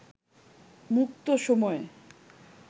মুক্ত সময়